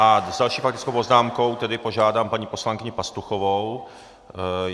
A s další faktickou poznámkou tedy požádám paní poslankyni Pastuchovou.